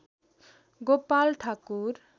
Gopal Thakur